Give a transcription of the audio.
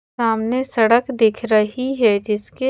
सामने सड़क दिख रही है जिसके--